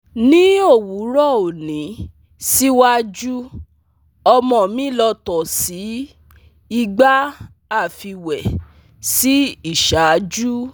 Ni owurọ oni siwaju ọmọ mi lọ to sii igba afiwe si iṣaaju